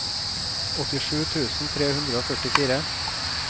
åttisju tusen tre hundre og førtifire